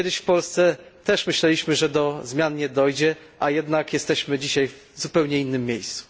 W Polsce też kiedyś myśleliśmy, że do zmian nigdy nie dojdzie, a jednak jesteśmy dzisiaj w zupełnie innym miejscu.